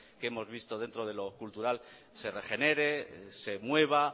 que hemos visto dentro de lo cultural se regenere se mueva